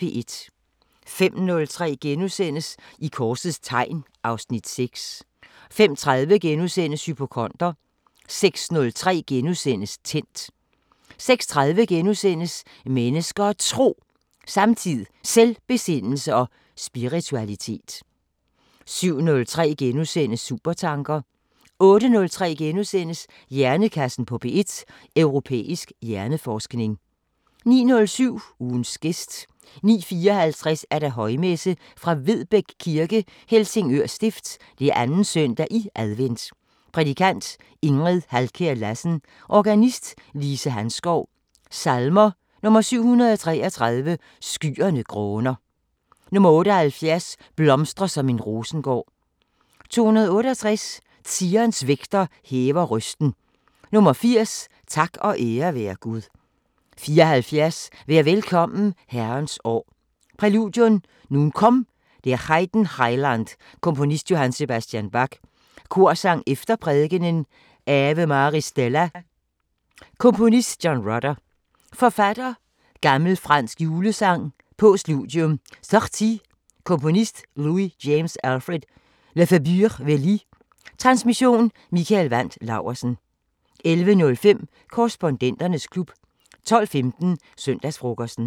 05:03: I korsets tegn (Afs. 6)* 05:30: Hypokonder * 06:03: Tændt * 06:30: Mennesker og Tro: Samtid, Selvbesindelse og spiritualitet * 07:03: Supertanker * 08:03: Hjernekassen på P1: Europæisk hjerneforskning * 09:07: Ugens gæst 09:54: Højmesse - Vedbæk Kirke, Helsingør Stift. 2. søndag i advent Prædikant: Ingrid Halkjær-Lassen. Organist: Lise Hanskov. Salmer: 733: "Skyerne gråner" 78: "Blomstre som en rosengård" 268: "Zions vægter hæver røsten" 80: "Tak og ære være Gud" 74: "Vær velkommen Herrens år" Præludium: "Nun komm, der Heiden Heiland" Komponist: J.S. Bach. Korsang efter prædikenen: "Ave Maris Stella" Komponist: John Rutter. Forfatter: Gl. fransk julesang Postludium: "Sortie" Komponist: Louis James Alfred Lefebure- Wely. Transmission: Mikael Wandt Laursen. 11:05: Korrespondenternes klub 12:15: Søndagsfrokosten